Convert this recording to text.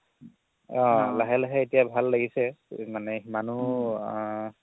লাহে লাহে এতিয়া ভাল লাগিছে মানে সিমানও আ